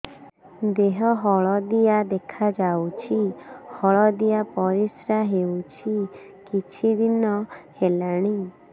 ଦେହ ହଳଦିଆ ଦେଖାଯାଉଛି ହଳଦିଆ ପରିଶ୍ରା ହେଉଛି କିଛିଦିନ ହେଲାଣି